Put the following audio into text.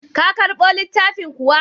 Ka karɓo littafin kuwa?